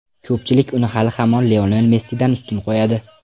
Ko‘pchilik uni hali ham Lionel Messidan ustun qo‘yadi.